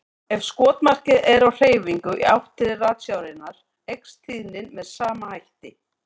Ef skotmarkið er á hreyfingu í átt til ratsjárinnar eykst tíðnin með sama hætti.